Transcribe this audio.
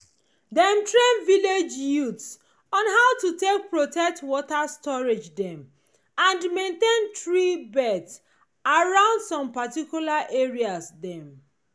dem train village youths on how to take protect water storage dem and maintain tree belts around some particular areas dem